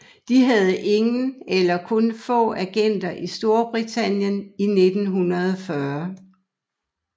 De havde ingen eller kun få agenter i Storbritannien i 1940